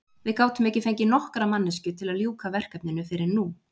Við gátum ekki fengið nokkra manneskju til að ljúka verkinu fyrr en nú.